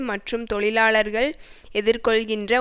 மற்றும் தொழிலாளர்கள் எதிர்கொள்கின்ற